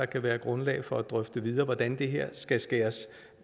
kan være grundlag for at drøfte videre hvordan det her skal skæres